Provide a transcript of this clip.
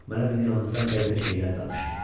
Mənə dünyamızdan qəribə şeylər danışdı.